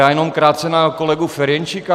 Já jenom krátce na kolegu Ferjenčíka.